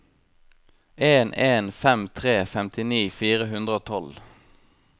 en en fem tre femtini fire hundre og tolv